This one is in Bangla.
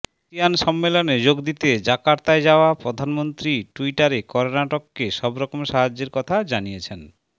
আসিয়ান সম্মেলনে যোগ দিতে জাকার্তায় যাওয়া প্রধানমন্ত্রী ট্যুইটারে কর্ণাটকে সবরকম সাহায্যের কথা জানিয়েছেন